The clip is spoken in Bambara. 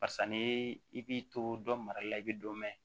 Barisa n'i b'i to dɔ mara la i bɛ dɔ mɛn